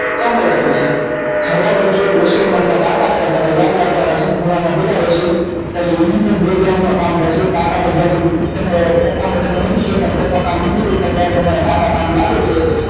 compulsary છે નામ ના કાકા થાય તમારે યાદ રાખવાનું છે ખૂણા માં પડ્યા રેશે એમ નહિ કે માં કામ કરશે કાકા ને તમે નથી કેતા કાકા કામ નથી કરતાં ત્યારે તમારા કામ લાગે છે